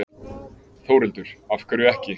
Þórhildur: Af hverju ekki?